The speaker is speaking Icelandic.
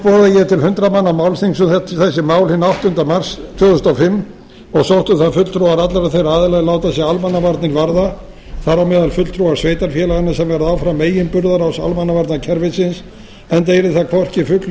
ég til hundrað manna málþings um þessi mál hinn áttunda mars tvö þúsund og fimm og sóttu það fulltrúar allra þeirra aðila er láta sig almannavarnir varða þar á meðal fulltrúa sveitarfélaganna sem verða áfram meginburðarás almannavarnakerfisins enda yrði það hvorki fugl né